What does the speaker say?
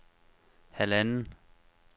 halvanden